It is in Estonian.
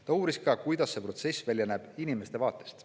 Ta uuris ka, kuidas see protsess näeb välja inimeste vaatest.